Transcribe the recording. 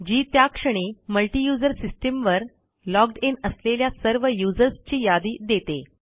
जी त्या क्षणी multi user system वर logged इन असलेल्या सर्व यूझर्स ची यादी देते